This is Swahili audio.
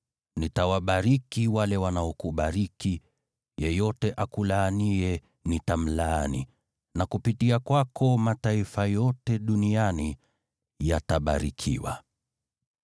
Nitawabariki wale wanaokubariki, na yeyote akulaaniye nitamlaani; na kupitia kwako mataifa yote duniani yatabarikiwa.”